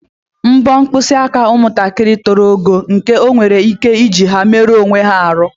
Mpọ mpkịsị aka nwatakịrị a toro ogo nke o nwere ike iji ha meruo onwe ya arụ.